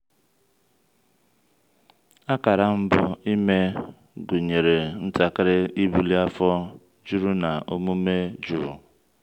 akara mbụ ime gụnyere ntakịrị ibuli afọ juru na omume jụụ.